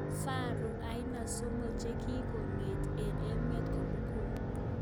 Faru aina somok chekikong'et eng emeet komugul